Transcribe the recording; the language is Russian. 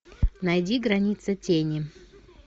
найди граница тени